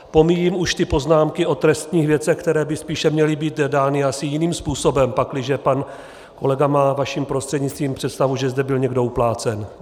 Pomíjím už ty poznámky o trestních věcech, které by spíše měly být dány asi jiným způsobem, pakliže pan kolega má, vaším prostřednictvím, představu, že zde byl někdo uplácen.